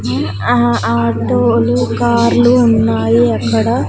ఊహు ఆహా ఆటోలు కార్లు ఉన్నాయి అక్కడ.